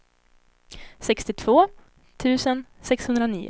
sextiotvå tusen sexhundranio